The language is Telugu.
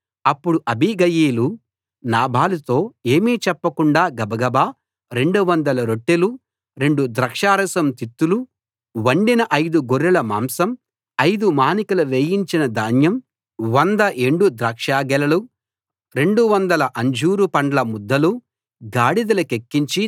అప్పుడు అబీగయీలు నాబాలుతో ఏమీ చెప్పకుండా గబగబా 200 రొట్టెలు రెండు ద్రాక్షారసం తిత్తులు వండిన ఐదు గొర్రెల మాంసం ఐదు మానికల వేయించిన ధాన్యం 100 ఎండు ద్రాక్షగెలలు 200 అంజూరు పండ్ల ముద్దలు గాడిదలకెక్కించి